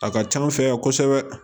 A ka can an fɛ yan kosɛbɛ